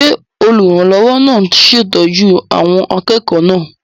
Ṣé olùrànlọ́wọ́ náà ń ṣètọ́jú àwọn akẹ́kọ̀ọ́ náà?